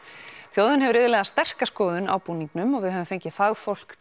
þjóðin hefur iðulega sterka skoðun á búningnum og við höfum fengið fagfólk